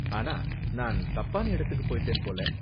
ஆனா நான் தப்பான இடத்துக்கு போய்ட்டேன் போல.